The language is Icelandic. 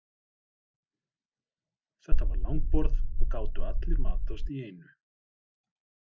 Þetta var langborð og gátu allir matast í einu.